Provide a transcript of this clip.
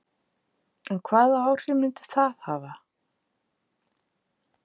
En hvaða áhrif myndi það hafa?